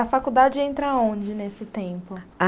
A faculdade entra aonde nesse tempo?